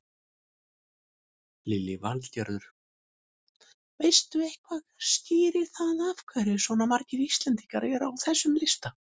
Lillý Valgerður: Veistu eitthvað skýrir það af hverju svona margir Íslendingar eru á þessum lista?